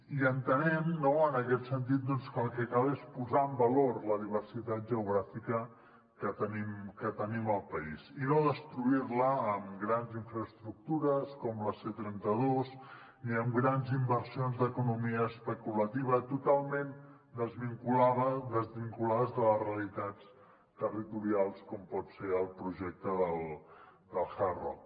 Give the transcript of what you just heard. i entenem no en aquest sentit doncs que el que cal és posar en valor la diversitat geogràfica que tenim al país i no destruir la amb grans infraestructures com la c trenta dos ni amb grans inversions d’economia especulativa totalment desvinculades de les realitats territorials com pot ser el projecte del hard rock